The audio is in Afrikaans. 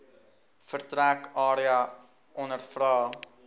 vertrek area ondervra